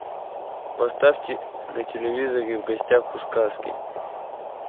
поставьте на телевизоре в гостях у сказки